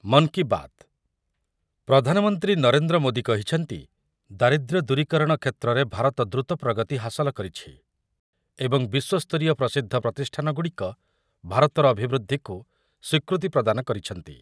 ମନ୍ କୀ ବାତ୍ , ପ୍ରଧାନମନ୍ତ୍ରୀ ନରେନ୍ଦ୍ର ମୋଦି କହିଛନ୍ତି, ଦାରିଦ୍ର୍ୟ ଦୂରୀକରଣ କ୍ଷେତ୍ରରେ ଭାରତ ଦ୍ରୁତ ପ୍ରଗତି ହାସଲ କରିଛି ଏବଂ ବିଶ୍ୱସ୍ତରୀୟ ପ୍ରସିଦ୍ଧ ପ୍ରତିଷ୍ଠାନଗୁଡ଼ିକ ଭାରତର ଅଭିବୃଦ୍ଧିକୁ ସ୍ୱୀକୃତି ପ୍ରଦାନ କରିଛନ୍ତି ।